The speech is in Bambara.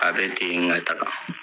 A bɛ ten ŋa taga